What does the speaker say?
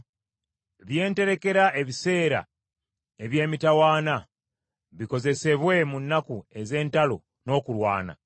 Bye nterekera ebiseera eby’emitawaana, bikozesebwe mu nnaku ez’entalo n’okulwana?